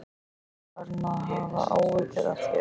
Ég var farinn að hafa áhyggjur af þér.